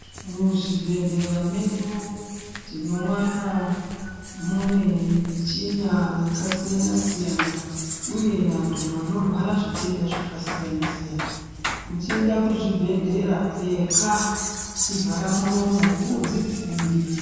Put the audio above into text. Muzvibhedhlera medu tinowana mune michina yakasiyana siyana uye vantu vanorwara zvitenda zvakasiyana siyana uchienda kuzvibhedhlera pfeka chivhara muromo udzidzivirire.